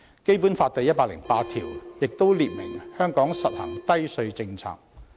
《基本法》第一百零八條亦訂明，香港實行低稅政策。